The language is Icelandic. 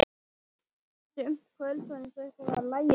Sum kvöld var eins og eitthvað lægi í loftinu.